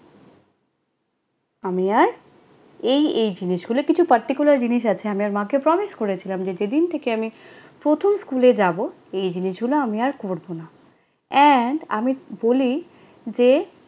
আমি আর, এই এই জিনিসগুলো, কিছু particular জিনিস আছে, আমি আমার মাকে promise করেছিলাম, যেদিন থেকে আমি প্রথম স্কুলে যাবো, এই এই জিনিসগুলো আমি আর করবো না। and আমি বলি যে